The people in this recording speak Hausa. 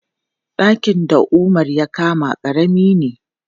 Ɗakin da Umar ya kama ƙarami ne.